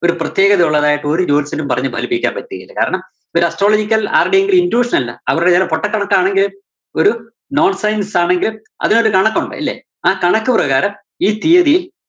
ഒരു പ്രത്യേകതയുള്ളതായിട്ട് ഒരു ജോത്സ്യനും പറഞ്ഞു ഫലിപ്പിക്കാന്‍ പറ്റുകേല കാരണം, ഇതൊരു astrological ആരുടേയും intuition അല്ല. അവരുടെ ചെല പൊട്ട കണക്കാണെങ്കിലും ഒരു non science ആണെങ്കിലും അതിനൊരു കണക്കൊണ്ട്. ഇല്ലേ? ആ കണക്കു പ്രകാരം ഈ തിയ്യതി~